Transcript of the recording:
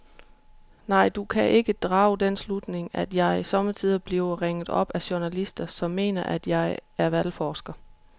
Nej, du kan drage den slutning, at jeg sommetider bliver ringet op af journalister, som mener, at jeg er valgforsker.